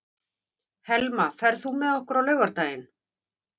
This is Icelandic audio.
Helma, ferð þú með okkur á laugardaginn?